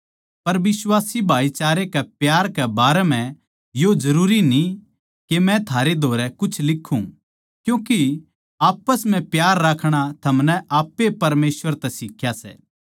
पर बिश्वासी भाईचारे के प्यार कै बारै म्ह यो जरूरी न्ही के मै थारै धोरै कुछ लिक्खूँ क्यूँके आप्पस म्ह प्यार राखणा थमनै आप ए परमेसवर तै सिख्या सै